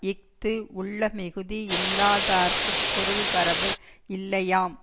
இஃது உள்ளமிகுதி யில்லாதார்க்குப் பொருள் வரவு இல்லையாம்